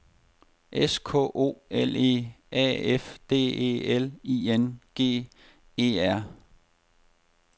S K O L E A F D E L I N G E R